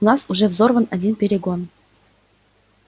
у нас уже взорван один перегон